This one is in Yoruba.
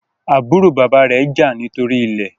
àbúrò bàbá rẹ jà nítorí ilè